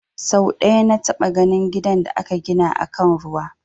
Sau ɗaya na taɓa ganin gidan da aka gina akan ruwa